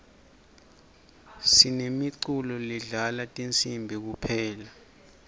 sinemiculo ledlala tinsibi kuphela